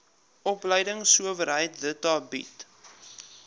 opleidingsowerheid theta bied